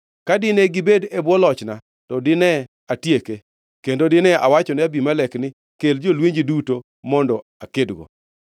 Ka dine gibed e bwo lochna, to dine atieke, kendo dine awachone Abimelek ni, ‘Kel jolwenji duto mondo akedgo!’ ”